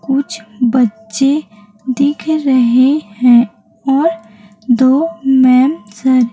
कुछ बच्चे दिख रहें हैं और दो मैम सर --